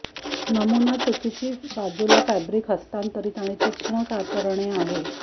नमुना चुकीची बाजूला फॅब्रिक हस्तांतरित आणि तीक्ष्ण कातरणे आहे